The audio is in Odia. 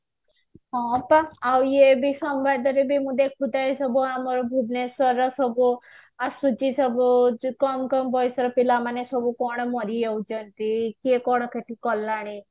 ହଁ ପା ଆଉ ଏଇ ଏବେ ସମ୍ବାଦରେ ଦିନେ ଦେଖୁଥାଏ ସବୁ ଆମର ଭୁବନେଶ୍ବରର ସବୁ ଆସୁଛି ସବୁ କମ୍ କମ୍ ବଯସର ପିଲାମାନେ ସବୁ କଣ ମରିଯାଉଛନ୍ତି କିଏ କଣ ସେଠି କଲାଣି